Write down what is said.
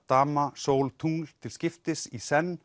dama Sól tungl til skiptis í senn